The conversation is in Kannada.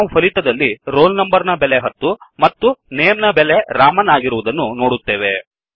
ನಾವು ಫಲಿತದಲ್ಲಿ roll number ನ ಬೆಲೆ ಹತ್ತು ಮತ್ತು ನೇಮ್ ನ ಬೆಲೆ ರಾಮನ್ ಆಗಿರುವುದನ್ನು ನೋಡುತ್ತೇವೆ